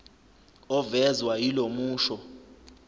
ovezwa yilo musho